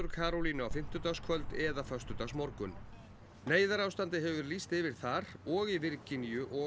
Karólínu á fimmtudagskvöld eða föstudagsmorgun neyðarástandi hefur verið lýst yfir þar og í Virginíu og